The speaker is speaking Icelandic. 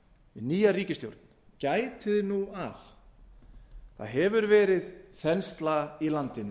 nýja ríkisstjórn gætið nú að það hefur verið þensla í landinu